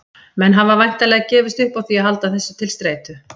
Menn hafa væntanlega gefist upp á því að halda þessu til streitu.